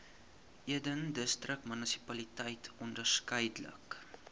eden distriksmunisipaliteit onderskeidelik